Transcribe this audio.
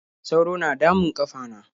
sauro na damun ƙafana.